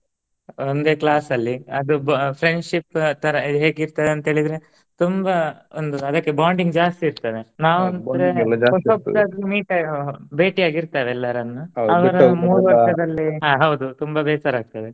ಒಂದೆ class ಅಲ್ಲಿ ಅದು friendship ಆತರ ಹೇಗಿರ್ತಾರೆ ಅಂತ್ ಹೇಳಿದ್ರೆ ತುಂಬಾ ಒಂದು ಅದಕ್ಕೆ bonding ಜಾಸ್ತಿ ಇರ್ತದೆ ನಾವ್ ಅಂದ್ರೆ meet ಬೇಟಿ ಆಗಿರ್ತೆವೆ ಎಲ್ಲರನ್ನೂ. ಹ ಹೌದು ತುಂಬಾ ಬೆಸರಾಗ್ತದೆ.